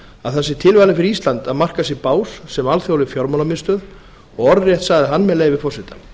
að það sé tilvalið fyrir ísland að marka sér bás sem alþjóðleg fjármálamiðstöð og orðrétt sagði hann með leyfi forseta